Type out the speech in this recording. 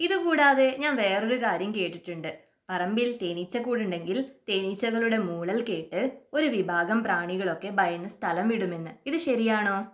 ഇതുകൂടാതെ ഞാൻ വേറൊരു കാര്യം കേട്ടിട്ടുണ്ട് പറമ്പിൽ തേനീച്ചക്കൂട് ഉണ്ടെങ്കിൽ തേനീച്ചകളുടെ മൂളൽ കേട്ട് ഒരു വിഭാഗം പ്രാണികളൊക്കെ ഭയന്ന് സ്ഥലം വിടുമെന്ന് ഇത് ശരിയാണോ?